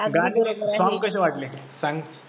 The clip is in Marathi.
गाणी songs कसे वाटले कसे वाटले सांग